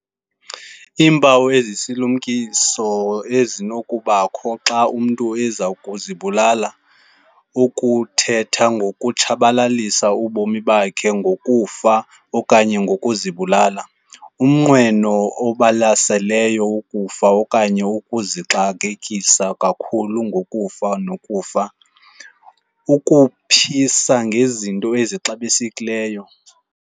Iimpawu ezisisilumkiso ezinokubakho xa umntu ezakuzibulala- Ukuthetha ngokutshabalalisa ubomi bakhe, ngokufa okanye ngokuzibulala. Umnqweno obalaseleyo wokufa okanye ukuzixakekisa kakhulu ngokufa nokufa. Ukuphisa ngezinto ezixabisekileyo.